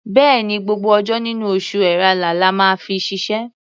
Bẹ́ẹ̀ni, gbogbo ọjọ́ nínú oṣù Ẹ̀rẹnà la máa fi ṣiṣẹ́.